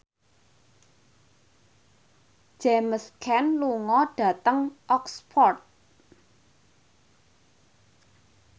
James Caan lunga dhateng Oxford